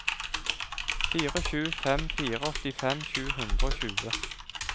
fire sju fem fire åttifem sju hundre og tjue